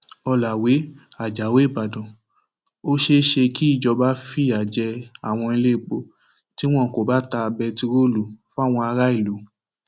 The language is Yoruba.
ọlàwé ajáò ìbàdàn ó ṣeé ṣe kí ìjọba fìyà jẹ àwọn iléepo tí wọn kò bá ta bẹtiróòlù fáwọn aráàlú